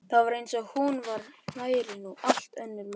Það var eins og hún væri nú allt önnur manneskja.